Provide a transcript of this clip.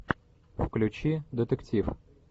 включи детектив